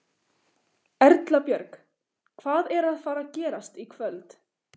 Erla Björg: Hvað er að fara gerast í kvöld?